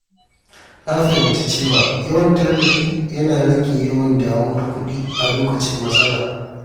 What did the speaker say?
Na fahimci cewa yawan tanadi yana rage damuwar kuɗi a lokacin matsala.